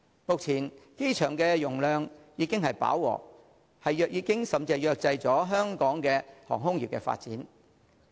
目前機場容量已經飽和，甚至已制約香港航空業的發展。